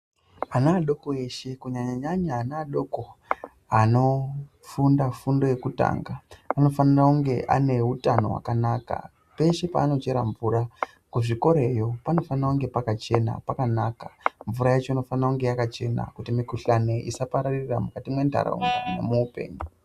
Ana adoko eshe kunyanya nyanya ana adoko anofunda fundo yekutanga anofana kunge aneutano wakanaka peshe paanochera mvura kuzvikorayo panofana kunge pakachena pakanaka mvura yacho inofana kunge yakachena kuti mikuhlani isapararira mukati mendaraunda nemuupenyu.